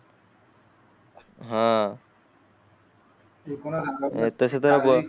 हान तशे तर